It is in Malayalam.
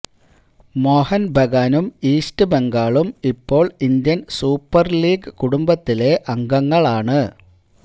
മോഹന് ബഗാനും ഈസ്റ്റ് ബംഗാളും ഇപ്പോള് ഇന്ത്യന് സൂപ്പര് ലീഗ് കുടുംബത്തിലെ അംഗങ്ങളാണ്